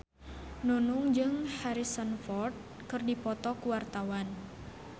Nunung jeung Harrison Ford keur dipoto ku wartawan